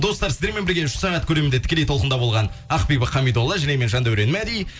достар сіздермен бірге үш сағат көлемінде тікелей толқында болған ақбибі қамидолла және мен жандаурен мәди